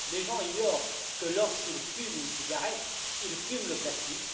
Les gens ignorent que lorsqu'ils fument une cigarette, ils fument le plastique.